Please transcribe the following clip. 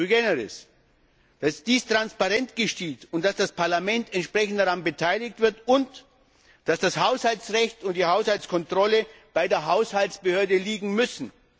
Unabdingbar ist, dass dies in transparenter Weise geschieht, dass das Parlament entsprechend daran beteiligt wird und dass das Haushaltsrecht sowie die Haushaltskontrolle bei der Haushaltsbehörde liegen müssen.